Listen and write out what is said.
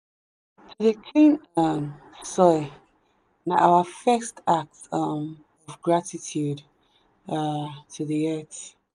to dey clean um soil na our first act um of gratitude um to the earth.